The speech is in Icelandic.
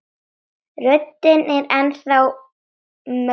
Röddin er enn þá mögnuð.